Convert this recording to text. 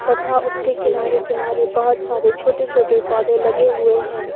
तथा उसके किनारे किनारे बहोत सारे छोटे छोटे पौधे लगे हुए हैं।